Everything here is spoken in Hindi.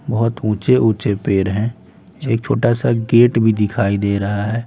बहुत ऊंचे ऊंचे पेड़ हैं एक छोटा सा गेट भी दिखाई दे रहा है।